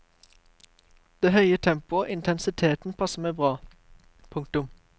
Det høye tempoet og intensiteten passer meg bra. punktum